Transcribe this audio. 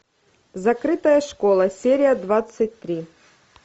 закрытая школа серия двадцать три